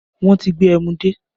Wọn tí gbé ẹmu dé